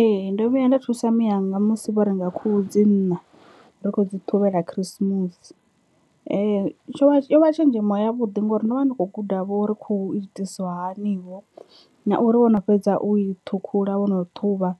Ee, ndo vhuya nda thusa miyanga musi vho renga khuhu dzi nṋa ri kho dzi ṱhuvhela khirisimusi tsho vha yo vha tshenzhemo ya vhuḓi ngori ndo vha ndi kho guda vho uri khuhu hu itisiwa hani vho na uri wo no fhedza u i ṱhukhula wo no ṱhuvha